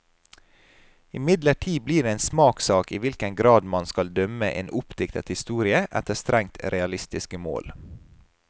Imidlertid blir det en smakssak i hvilken grad man skal dømme en oppdiktet historie efter strengt realistiske mål.